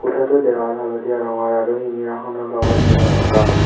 কোঠাটোৰ দেৱাল হালধীয়া ৰঙৰ আৰু শিঙিৰাখনৰ লগত যোৰা থকা।